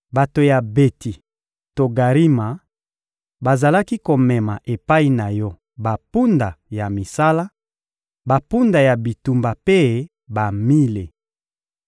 Bato ya Beti Togarima bazalaki komema epai na yo bampunda ya misala, bampunda ya bitumba mpe bamile.